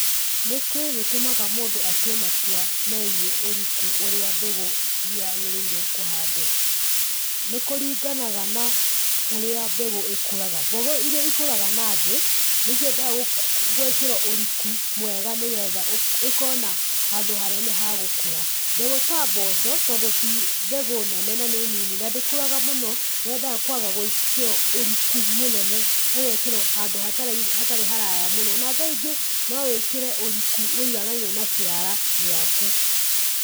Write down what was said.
Nĩkĩ gĩtũmaga mũndũ atue matua megiĩ ũriku ũrĩa mbegũ ciagĩrĩire kũhandwo? Nĩ kũringanaga na ũrĩa mbegũ ikũraga. Mbũgũ iria ikũraga na thĩ, nĩciendaga gũĩkĩrwo ũriku mwega nĩgetha ĩkorwo na handũ hanene hagũkũra. Mbegũ ta mboco, tondũ ti mbegũ nene na nĩ nini, na ndĩkũraga mũno, yendaga kũaga gũĩkĩrwo ũriku mũnene, ĩgeekĩrwo handũ hatarĩ haraya mũno, na tha ingĩ, no wĩkĩre ũriku wũiganaine na kĩara gĩaku.